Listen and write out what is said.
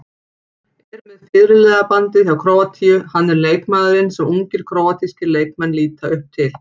Er með fyrirliðabandið hjá Króatíu, hann er leikmaðurinn sem ungir króatískir leikmenn líta upp til.